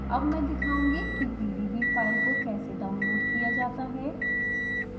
अब मैं दिखाउंगी कि pdb फाइल को कैसे डाउनलोड किया जाता है